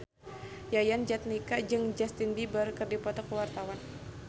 Yayan Jatnika jeung Justin Beiber keur dipoto ku wartawan